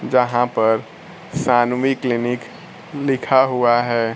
यहां पर सान्वी क्लिनिक लिखा हुआ है।